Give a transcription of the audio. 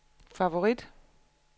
favorit